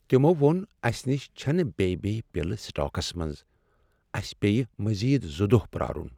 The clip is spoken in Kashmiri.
تمو ووٚن اسہ نش چھنہٕ بیٚیہ بییہ پِلہٕ سٹاکس منز۔ اسہِ پییہِ مزید زٕ دۄہ پرارٗن ۔